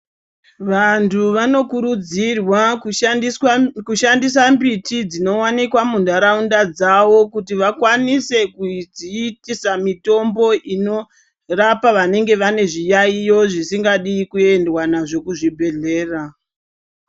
Vantu vanokurudzirwa kushandiswa kushandisa mbiti dzinowanikwa muntaraunda dzawo kuti vakwanise kudziitisa mitombo inorapa vanenge vane zviyaiyo zvisingadi kuendwa nazvo kuzvibhedhlera.